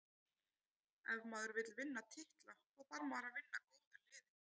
Ef maður vill vinna titla, þá þarf maður að vinna góðu liðin.